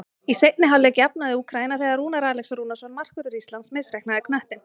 Í seinni hálfleik jafnaði Úkraína þegar Rúnar Alex Rúnarsson, markvörður Íslands, misreiknaði knöttinn.